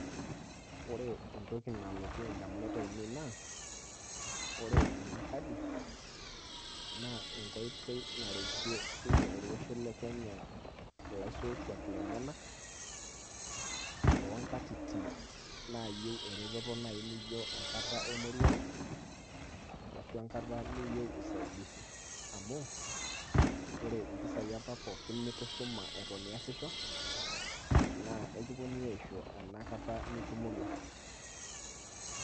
ore entoki nalotu indamunot aainei naa ore ena kadi, naa enkoitoi naretie sii ninye olosho le kenya, ilaisotuak lenyanak too nkatitin, naayieu eretoto naaji naijo enkata emorua ,ashu enkata niyieu usaidisi. amu ore mpisai apa pookin nitushuma iyasisho naa ekipuonunui aaisho ena kata itomorua.